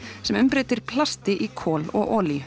sem umbreytir plasti í kol og olíu